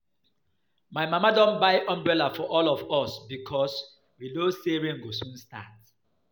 My mama don buy umbrella for all of us because we know say rain go soon start